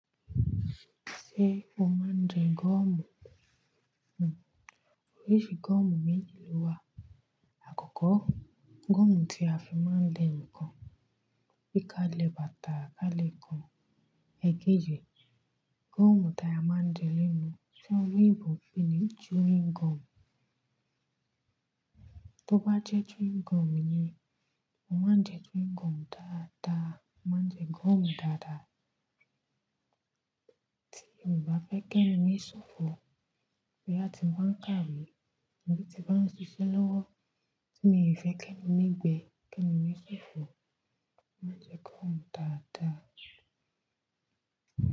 Ṣé o máa ń jẹ gọ́ọ̀mù? Òóríṣì gọ́ọ̀mù méjì ló wà. Àkọ́kọ́, gọ́ọ̀mù tí a fi máa ń le ǹkan bí i ká lè bàtà, ká lè kan èké jẹ. Gọ́ọ̀mù tíẹ̀ a máa ń jẹ línú tí oloyinbo ń pè ní chewing gum. Tó bá jẹ́ chewing gum yẹn, mo máa ń jẹ chewing gum dáadáa. Mo máa ń jẹ gọ́ọ̀mù dáadáa. Tí mo bá fẹ́ kẹ́nu ní ṣòfò, bí a ti ń bá ń kàwé, tìbí ti bá ń ṣiṣẹ́ lọ́wọ́ tí mi ò fẹ́ kẹ́nu ní ìgbẹ́, kẹ́nu ní ṣòfò, mo máa ń jẹ gọ́ọ̀mù dáadáa.